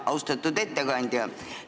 Austatud ettekandja!